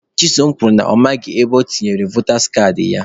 Chisom kwuru na ya amaghị ebe o tinyere votas kaadị ya.